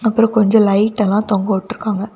அப்புறம் கொஞ்சம் லைட் எல்லாம் தொங்கவிட்டு இருக்காங்க.